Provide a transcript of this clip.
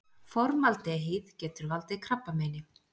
Formaldehýð- Getur valdið krabbameini.